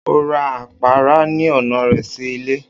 O ra apara ni ọna rẹ si ile.